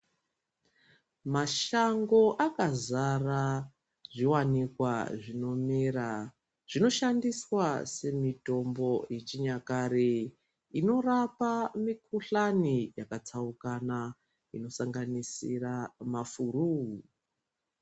Mashango akazara zviwanikwa zvinomera zvinoshandiswa semitombo yechinyakare inorapa mikhuhlani yakatsaukana inosanganisira mafuruu.